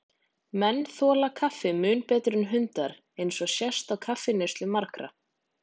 Menn þola koffín mun betur en hundar, eins og sést á kaffineyslu margra.